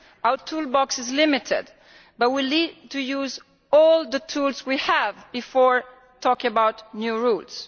Our toolbox is limited but we need to use all the tools we have before talking about new routes.